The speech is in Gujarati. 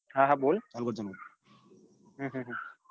હા હા બોલ હમ હમ